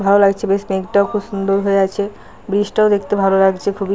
ভালো লাগছে বেশ। মেঘটাও খুব সুন্দর হয়ে আছে। ব্রিজ টাও দেখতে ভালো লাগছে খুবই।